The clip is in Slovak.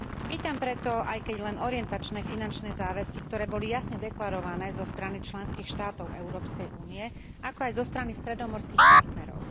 Vítam preto aj keď len orientačné finančné záväzky, ktoré boli jasne deklarované zo strany členských štátov Európskej únie, ako aj zo strany stredomorských partnerov.